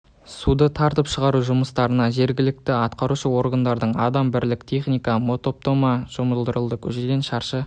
отыр суды тартып шығару жұмыстарына жергілікті атқарушы органдардың адам бірлік техника мотопомпа жұмылдырылды көшеден шаршы